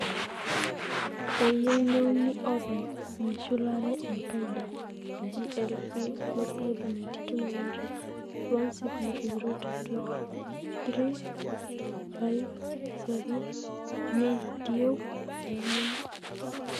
eyieu neuni oopeny meshulare enkai daa, GLP×92 900 16002-3 5-7 neitieu olameyu